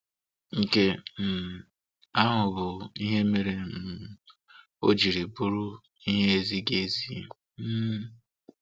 Nke um ahụ bụ ihe mere um o jiri bụrụ ihe ezighi ezi. um